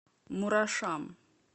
мурашам